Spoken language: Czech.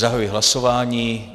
Zahajuji hlasování.